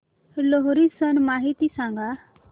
लोहरी सण माहिती सांगा